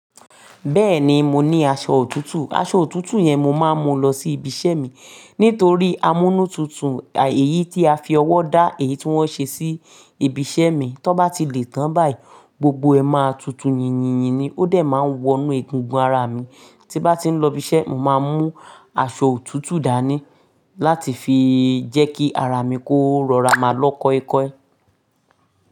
Bẹ́ẹ̀ni, mo ní aṣọ òtútù. Aṣọ òtútù yẹn mo máa ń mú lọ sí ibi iṣẹ́ mi nítorí amúnútutù èyí tí a fi ọwọ́ dá, èyí tí wọ́n ṣe sí ibi iṣẹ́ mi, tó bá ti lè tán báyìí, gbogbo ẹ̀ máa tutù yínyínyín ni. Ó dé máa ń wọnú egungun ara mi. Tí bá ti ń lọ ibi iṣẹ́, mo máa mú aṣọ òtútù dání láti fi jẹ́ kí ara mi kó rọra máa lọ kọ́kọ́ ẹ.